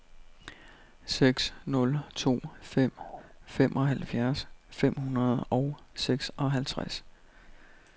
seks nul to fem femoghalvfjerds fem hundrede og seksoghalvtreds